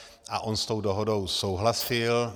A on s tou dohodou souhlasil.